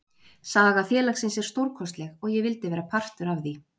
Saga félagsins er stórkostleg og ég vildi vera partur af því.